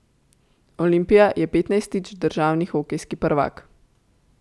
Olimpija je petnajstič državni hokejski prvak.